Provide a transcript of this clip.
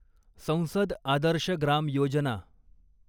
संसद आदर्श ग्राम योजना